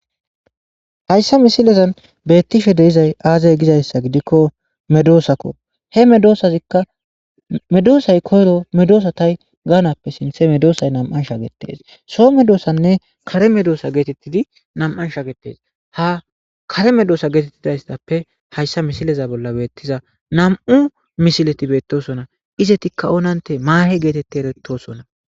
Hayssa misilezan beettishe deizay aazay gizayssa gidikko medoosakko he medoosazikka medoosay koyro medoosa tay gaanappe sinthe medoosay nam7an shagetes so medoosanne kare medoosa geetettidi nam7an shagetes ha kare medoosa geetettidaystappe hayssa misileza bolla beettiza nam7u mishileti beettosona izetikka onante maahe geetetti erettosona.